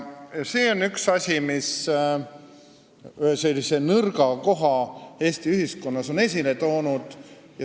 See on üks asi, mis on ühe sellise nõrga koha Eesti ühiskonnas esile toonud.